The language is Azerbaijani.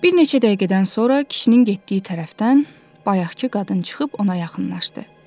Bir neçə dəqiqədən sonra kişinin getdiyi tərəfdən bayaqkı qadın çıxıb ona yaxınlaşdı.